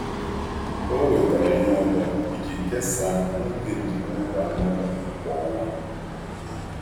Ọ wetara ihe ụtọ iji kesaa n’oge njem ógbè ógbè anụ ụlọ kwa ọnwa.